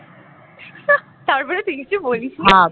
তারপরে তুই কিছু বলিস নি